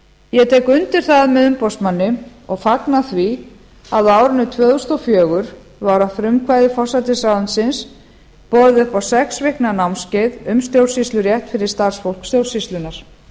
ég tek undir það með umboðsmanni og fagna því að á árinu tvö þúsund og fjögur var að frumkvæði forsætisráðuneytisins boðið upp á sex vikna námskeið um stjórnsýslurétt fyrir starfsfólk stjórnsýslunnar